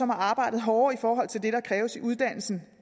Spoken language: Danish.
har arbejdet hårdere i forhold til det der kræves i uddannelsen